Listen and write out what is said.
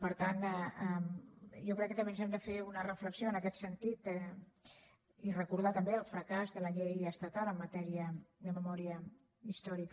per tant jo crec que també ens hem de fer una reflexió en aquest sentit i recordar també el fracàs de la llei estatal en matèria de memòria històrica